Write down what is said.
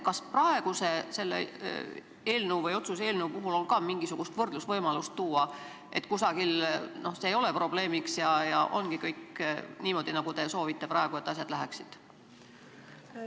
Kas on ka mingisugust võrdlust võimalik tuua, et kusagil see ei ole probleemiks ja ongi kõik niimoodi, nagu teie praegu soovite, et asjad läheksid?